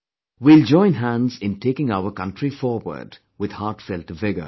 We will join hands in taking our country forward with heartfelt vigor